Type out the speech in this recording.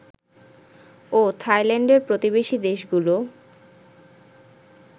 ও থাইল্যান্ডের প্রতিবেশী দেশগুলো